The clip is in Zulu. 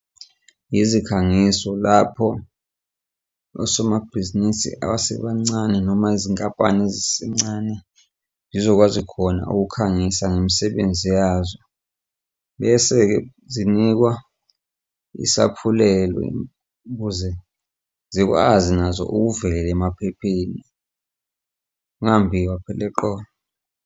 Izikhangiso lapho osomabhizinisi abasebancane noma izinkampani ezisencane zizokwazi khona ukukhangisa ngemisebenzi yazo, bese-ke zinikwa isaphulelo ukuze zikwazi nazo ukuvela emaphepheni ngungambhiwa phela eqolo.